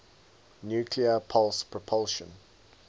nuclear pulse propulsion